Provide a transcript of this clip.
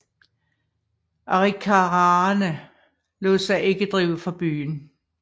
Arikaraerne lod sig ikke drive fra byen